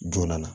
Joona